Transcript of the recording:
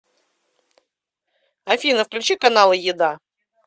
афина включи каналы еда